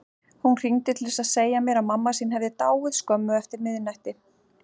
Hún hringdi til að segja mér að mamma sín hefði dáið skömmu eftir miðnætti.